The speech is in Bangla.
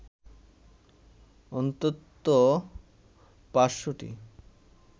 অন্তত ৫০০টি